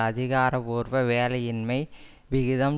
அதிகாரபூர்வ வேலையின்மை விகிதம்